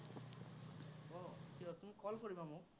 উম call কৰিবা মোক।